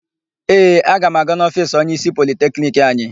Ee, aga m aga n'ofiisi onyeísí Politekniki anyị.